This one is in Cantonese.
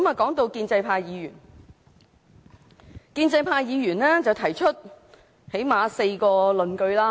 談到建制派議員，他們最低限度提出了4項論據。